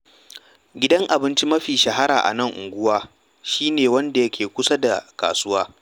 Gidan abinci mafi shahara a nan unguwa shi ne wanda ke kusa da kasuwa.